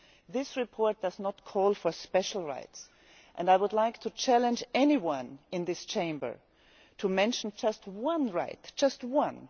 This report does not call for special rights and I would like to challenge anyone in this Chamber to mention just one right just one!